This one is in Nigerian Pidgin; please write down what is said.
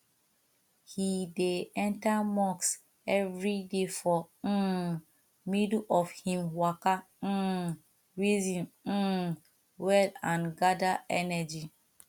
he dey enter mosque everyday for um middle of him waka um reason um well and gather energy